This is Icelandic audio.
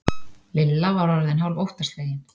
Lilla var orðin hálf óttaslegin.